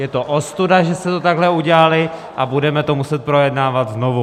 Je to ostuda, že jste to takhle udělali, a budeme to muset projednávat znovu.